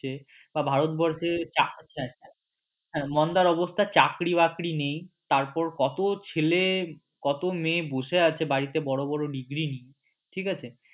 যে ভারতবর্ষে হ্যাঁ মন্দার অবস্থা চাকরী বাকরি নেই তারপর কত ছেলে কত মেয়ে বসে আছে বাড়িতে বড় বড় degree নিয়ে ঠিক আছে।